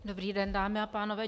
Dobrý den, dámy a pánové.